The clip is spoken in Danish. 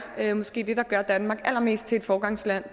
det er måske det der gør danmark allermest til et foregangsland